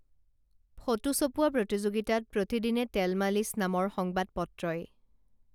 photo ছপোৱা প্ৰতিযোগীতাত প্ৰতিদিনে তেলমালিচ নামৰ সংবাদপত্ৰই